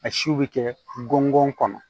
A siw bɛ kɛ gɔnɔ kɔnɔ